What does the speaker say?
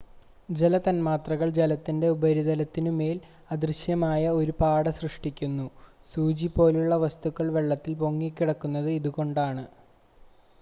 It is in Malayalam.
ജല തൻമാത്രകൾ ജലത്തിൻ്റെ ഉപരിതലത്തിനു മേൽ അദൃശ്യമായ ഒരു പാട സൃഷ്ടിക്കുന്നു സൂചി പോലുള്ള വസ്തുക്കൾ വെള്ളത്തിൽ പൊങ്ങിക്കിടക്കുന്നത് ഇതുകൊണ്ടാണ്